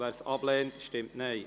wer dieses ablehnt, stimmt Nein.